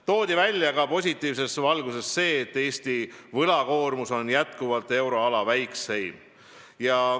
Positiivses valguses toodi välja ka see, et Eesti võlakoormus on jätkuvalt euroala väikseim.